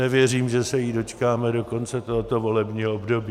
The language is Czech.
Nevěřím, že se jí dočkáme do konce tohoto volebního období.